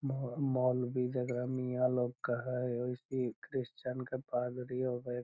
मो मौलवी जेकरा मियां लोग का है उइसे ही क्रिश्चियन के पादरी होवे।